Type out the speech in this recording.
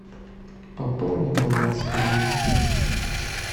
пополни баланс коллеги